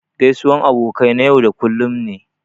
Gaisuwan abokai na yau da kullum ne.